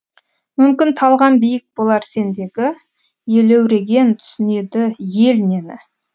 мүмкін талғам биік болар сендегі елеуреген түсінеді ел нені